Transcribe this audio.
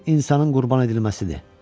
Bir insanın qurban edilməsidir.